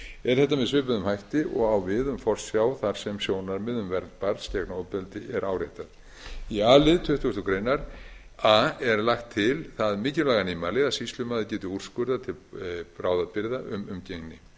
er þetta með svipuðum hætti og á við um forsjá þar sem sjónarmið um vernd barns gegn ofbeldi er áréttað í a lið tuttugustu greinar a er lagt til það mikilvæga nýmæli að sýslumaður geti úrskurðað til bráðabirgða um umgengni